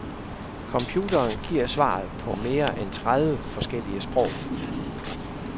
Computeren giver svaret på mere end tredive forskellige sprog.